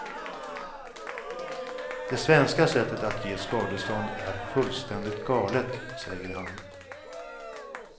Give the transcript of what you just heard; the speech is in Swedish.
Det svenska sättet att ge skadestånd är fullständigt galet, säger han.